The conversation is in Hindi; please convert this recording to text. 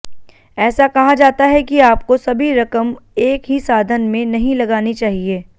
ऐसा कहा जाता है कि आपको सभी रकम एक ही साधन में नहीं लगानी चाहिए